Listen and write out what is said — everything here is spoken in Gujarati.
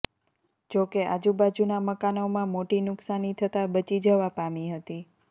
જોકે આજુબાજુના મકાનોમાં મોટી નુકસાની થતા બચી જવા પામી હતી